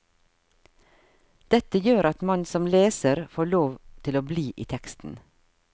Dette gjør at man som leser får lov til å bli i teksten.